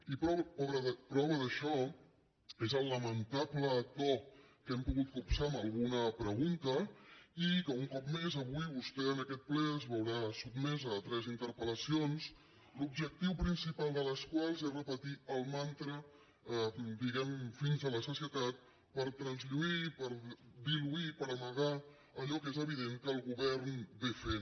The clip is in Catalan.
i prova d’això és el lamentable to que hem pogut copsar amb alguna pregunta i que un cop més avui vostè en aquest ple es veurà sotmesa a tres interpelés repetir el mantra diguem ne fins a la sacietat per traslluir per diluir i per amagar allò que és evident que el govern fa